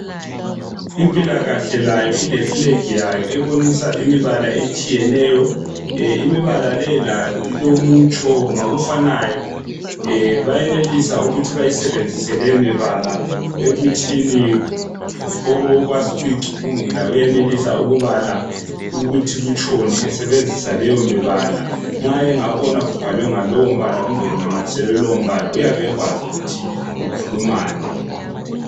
Impila kahle layo ile flag yayo layo ebonisa imibala etshiyeneyo imibala leyi layo ilomutsho ngokufanayo beyenelisa ukuthi bayisebenzise leyo mibala ekuthini okwazi ukuyicukungula uyenelisa ukubala ukuthi kutshoni esebenzisa leyimibala nxa engabona kubhalwe ngalowumbala kumbe kunamathiselwe lowo mbala uyabe ekwazi ukuthi kukhulumani.